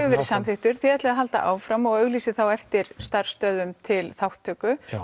verið samþykktur þið ætlið að halda áfram og auglýsið þá eftir starfsstöðum til þátttöku